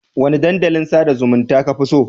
Wane dandalin sada zumunta kafi so?